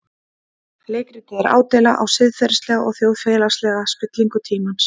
Leikritið er ádeila á siðferðilega og þjóðfélagslega spillingu tímans.